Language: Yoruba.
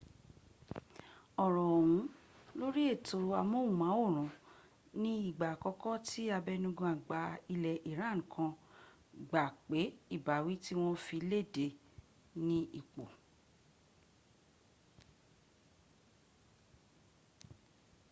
ọ̀rọ̀ ọ̀hún lórí ètò amóhùnmáwòrán ni ìgbà àkọ́kọ́ tí abẹnugan àgbà ilẹ̀ iran kan gbà pé ìbáwí tí wọn fi léde ní ip